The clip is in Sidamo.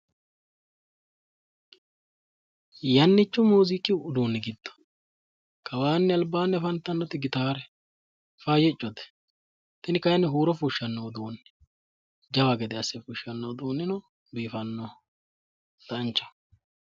Yannicho muuziiqu uduunni giddo kawa albankeenni. afantanno gitaare faayyiccoye tini kayinni huuro fushshanno jawa gede asse fushshanno uduunnichi biifannoho danchaho.